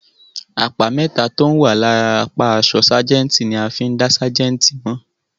Àpá mẹ́tà tó ń wà lára apá àṣọ ságẹ̀ǹtì ni a fí ń dá ságẹ̀ǹtì mọ̀.